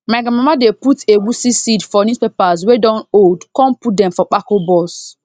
my grandmama dey put egusi seed for newspapers wey don old con put dem for pako box